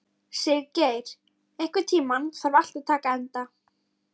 Siggerður, einhvern tímann þarf allt að taka enda.